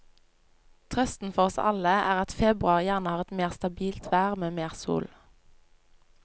Trøsten for oss alle er at februar gjerne har et mer stabilt vær med mer sol.